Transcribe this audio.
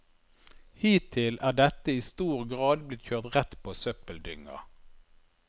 Hittil er dette i stor grad blitt kjørt rett på søppeldynga.